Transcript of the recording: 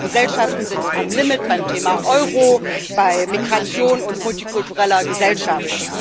unsere Gesellschaften sind am Limit beim Thema Euro, bei Migration und multikultureller Gesellschaft